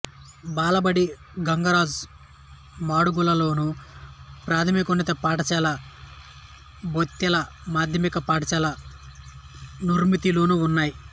బాలబడి గంగరాజు మాడుగులలోను ప్రాథమికోన్నత పాఠశాల బొయితెల మాధ్యమిక పాఠశాల నుర్మతిలోనూ ఉన్నాయి